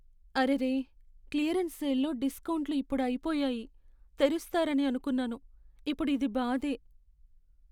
అరెరే! క్లియరెన్స్ సేల్లో డిస్కౌంట్లు ఇప్పుడు అయిపోయాయి. తెరుస్తారని అనుకున్నాను, ఇప్పుడు ఇది బాధే.